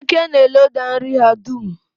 Eke na-eloda nri ha dum.